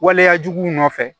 Waleyajuguw nɔfɛ